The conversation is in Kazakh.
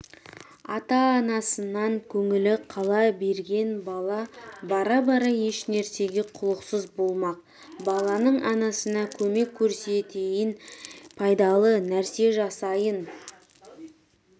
ата-анасынан көңілі қала берген бала бара бара ешнәрсеге құлықсыз болмақ баланың анасына көмек көрсетейін пайдалы нәрсе жасайын